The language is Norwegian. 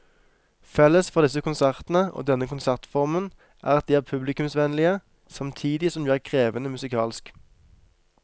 Felles for disse konsertene og denne konsertformen er at de er publikumsvennlige samtidig som de er krevende musikalsk.